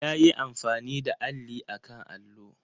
Ya yi amfani da alli a kan allo.